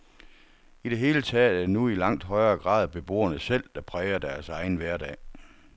I det hele taget er det nu i langt højere grad beboerne selv, der præger deres egen hverdag.